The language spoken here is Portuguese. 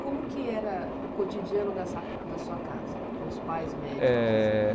Como que era o cotidiano dessa da sua casa, com os pais médicos? Eh